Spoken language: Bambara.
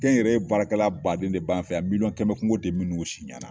Kɛnyɛrɛye baarakɛla baden de b'an fɛ yan miliyɔn kɛmɛ kungo tɛ minnu si ɲɛ na